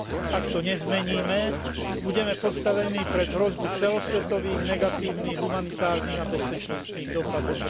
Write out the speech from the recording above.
Ak to nezmeníme, budeme postavení pred hrozbu celosvetových negatívnych humanitárnych a bezpečnostných dosahov.